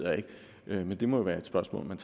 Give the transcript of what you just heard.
jeg ikke men det må jo være et spørgsmål man